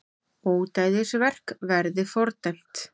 Ódæðisverk verði fordæmt